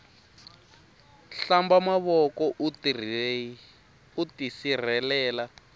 hlamba mavoko uta tisirhelela